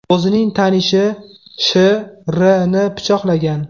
o‘zining tanishi Sh.R.ni pichoqlagan.